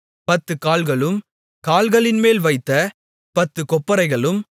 10 கால்களும் கால்களின்மேல் வைத்த 10 கொப்பரைகளும்